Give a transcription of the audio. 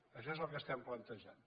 això és el que estem plantejant